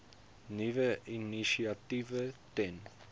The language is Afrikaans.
nuwe initiatiewe ten